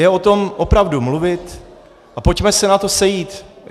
Je o tom opravdu mluvit a pojďme se na to sejít.